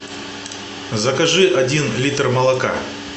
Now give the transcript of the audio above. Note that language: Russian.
закажи один литр молока